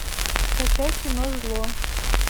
скачай кино зло